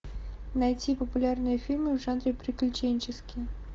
найти популярные фильмы в жанре приключенческий